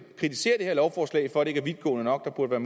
kritiserer det her lovforslag for at det ikke er vidtgående nok og at der